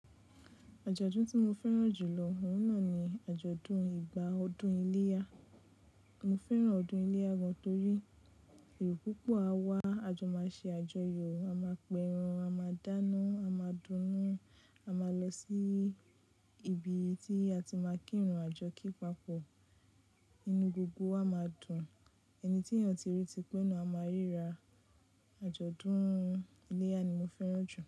Àjọ̀dún tí mo fẹ́ràn jù lọ, òun náà ni àjọ̀dún ìgbà ọdún iléyá. Mo fẹ́ràn ọdún iléyá gan torí èrò púpọ̀ á wá, a jọ máa ṣe àjọyọ̀, a máa pẹran, a máa dáná, a máa dunnú, a máa lọ sí ibi tí a ti máa kírun àjọ kí pa pọ̀. Inú gbogbo wa máa dùn. Ẹni tí ènìyàn ti rí ti pe na, a máa ríra. Àjọ̀dún iléyá ni mo fẹ́ràn jù.